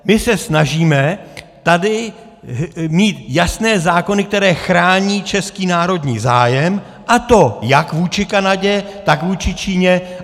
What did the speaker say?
My se snažíme tady mít jasné zákony, které chrání český národní zájem a to jak vůči Kanadě, tak vůči Číně.